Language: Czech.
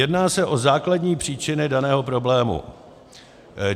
Jedná se o základní příčiny daného problému.